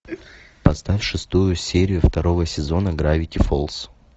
поставь шестую серию второго сезона гравити фолз